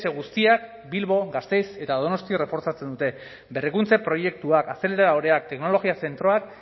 guztiak bilbo gasteiz eta donostia reforzatzen dute berrikuntza proiektuak azeleradoreak teknologia zentroak